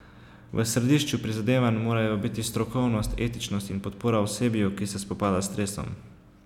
V središču prizadevanj morajo biti strokovnost, etičnost in podpora osebju, ki se spopada s stresom.